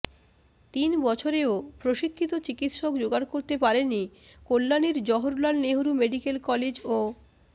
তিন বছরেও প্রশিক্ষিত চিকিৎসক জোগাড় করতে পারেনি কল্যাণীর জওহরলাল নেহরু মেডিক্যাল কলেজ ও